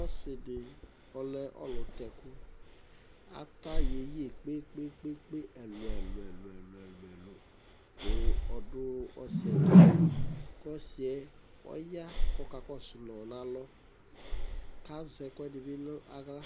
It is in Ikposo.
ɔsidi ɔleɔluteku ɑtayeye kpekpekpe ɛlueluelue ku ɔdu ɔsietu ku ɔsie ɔya kokakosuno nɑlɔ kazekuedibi nayla